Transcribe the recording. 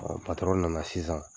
Ɔ patɔrɔn nana sisan